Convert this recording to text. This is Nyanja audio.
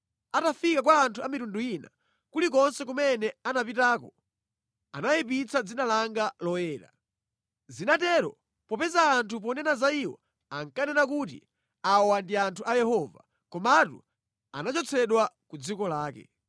Atafika kwa anthu a mitundu ina, kulikonse kumene anapitako, anayipitsa dzina langa loyera. Zinatero popeza anthu ponena za iwo ankanena kuti, ‘Awa ndi anthu a Yehova, komatu anachotsedwa ku dziko lake.’